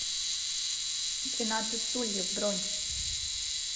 двенадцать стульев бронь